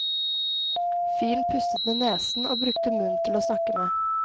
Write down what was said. Fyren pustet med nesen og brukte munnen til åsnakke med.